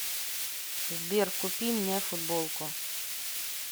сбер купи мне футболку